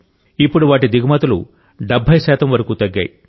ఇప్పుడు వాటి దిగుమతులు 70 శాతం వరకు తగ్గాయి